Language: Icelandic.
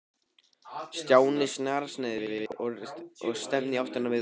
Stjáni snarsneri við og stefndi í áttina að miðbænum.